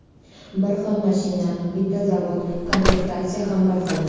Bir xil mashina, bitta zavod, komplektatsiya ham bir xil.